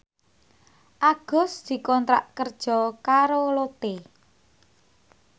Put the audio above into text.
Agus dikontrak kerja karo Lotte